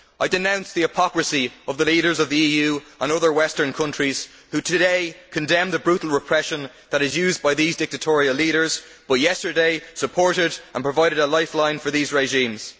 I denounce the hypocrisy of the leaders of the EU and other Western countries who today condemn the brutal repression that is used by these dictatorial leaders, but who yesterday supported, and provided a lifeline for, their regimes.